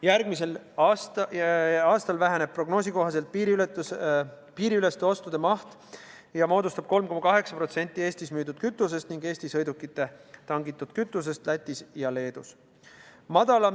Järgmisel aastal väheneb prognoosi kohaselt piiriüleste ostude maht ja moodustab 3,8% Eestis müüdud kütusest ning Eesti sõidukite tangitud kütusest Lätis ja Leedus.